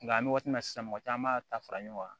Nga an be waati min na sisan mɔgɔ caman b'a ta fara ɲɔgɔn kan